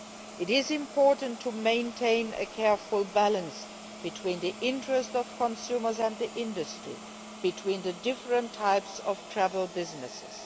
It is important to maintain a careful balance between the interests of consumers and the interests of the industry, and between the different types of travel businesses.